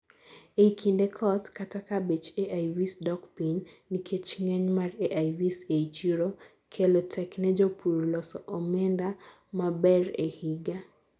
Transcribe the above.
eii kinde koth, kata kaa bech AIVs dok piny nikech ng'eny mar AIVs ei chiro kelo tek ne jopur loso omenda maber ee higa